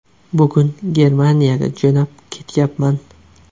Bugun Germaniyaga jo‘nab ketyapman.